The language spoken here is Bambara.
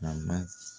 A ma